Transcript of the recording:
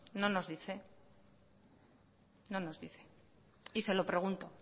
no nos dice no nos dice y se lo pregunto